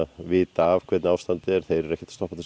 vita hvernig ástandið er eru ekkert að stoppa til að